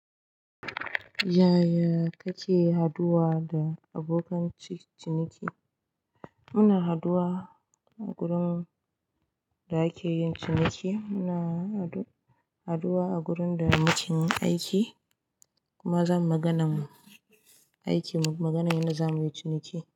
Yaya kake haduwa da abokan cin ciniki? Muna haduwa a gurin da ake yin ciniki. Muna haduwa a gurin da muke yin aiki kuma zamu yi maganar aikin maganar yanda zamuyi ciniki.